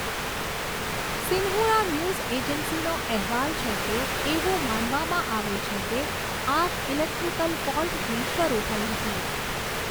Xinhua news એજન્સીનો અહેવાલ છે કે, એવું માનવામાં આવે છે કે આગ ઇલેક્ટ્રિકલ ફોલ્ટથી શરૂ થઈ હતી.